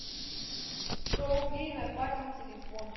сто рублей на папин телефон